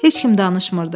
Heç kim danışmırdı.